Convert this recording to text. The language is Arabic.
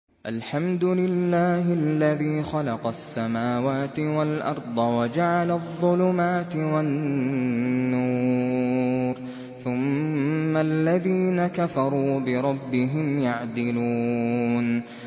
الْحَمْدُ لِلَّهِ الَّذِي خَلَقَ السَّمَاوَاتِ وَالْأَرْضَ وَجَعَلَ الظُّلُمَاتِ وَالنُّورَ ۖ ثُمَّ الَّذِينَ كَفَرُوا بِرَبِّهِمْ يَعْدِلُونَ